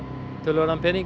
töluverðan pening